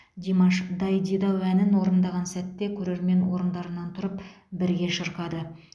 димаш дайдидау әнін орындаған сәтте көрермен орындарынан тұрып бірге шырқады